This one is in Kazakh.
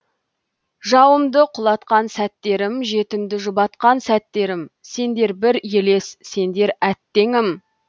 жауымды құлатқан сәттерім жетімді жұбатқан сәттерім сендер бір елес сендер әттеңім